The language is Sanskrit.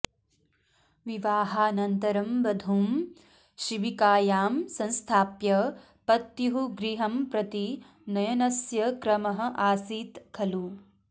विवाहानन्तरं वधूं शिबिकायां संस्थाप्य पत्युः गृहं प्रति नयनस्य क्रमः आसीत् खलु